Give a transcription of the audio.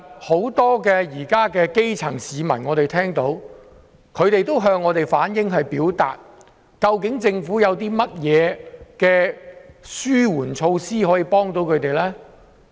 很多基層市民也向我們反映，政府有甚麼紓緩措施可以幫助他們。